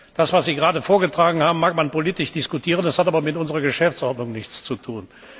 Das, was Sie gerade vorgetragen haben, mag man politisch diskutieren, das hat aber mit unserer Geschäftsordnung nichts zu tun.